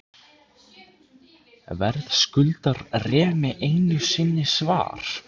Verðskuldar Remi einu sinni svar?